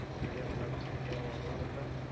પેહલા મતલબ શું કેહવા માંગો છો sir?